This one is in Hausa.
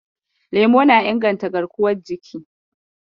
Lemo na inganta garkuwar jiki.